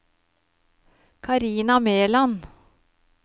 Carina Meland